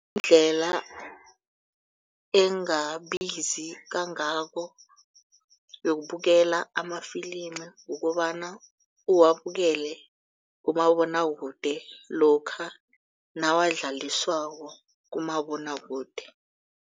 Indlela engabisizi kangako kuyobukela amafilimu kukobana uwabukelele kumabonwakude lokha nawadlaliswako kumabonwakude.